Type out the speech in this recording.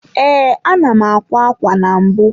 Ee, ana m akwa ákwá na mbụ.